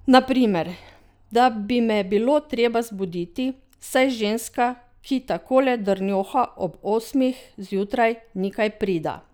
Na primer, da bi me bilo treba zbuditi, saj ženska, ki takole drnjoha ob osmih zjutraj, ni kaj prida.